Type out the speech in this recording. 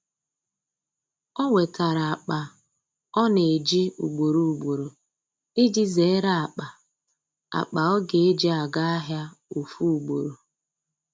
o wetara akpa ọ na eji ugboro ugboro iji zere akpa akpa ọ ga eji aga ahia ofu ugboro.